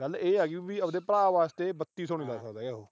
ਗੱਲ ਇਹ ਆ ਗਈ ਵੀ ਆਪਣੇ ਭਰਾ ਵਾਸਤੇ ਬੱਤੀ ਸੌ ਨੀ ਲੱਗਾ ਸਕਦਾ ਉਹ।